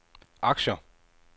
aktier